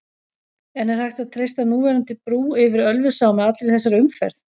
En er hægt að treysta núverandi brú yfir Ölfusá með allri þessari umferð?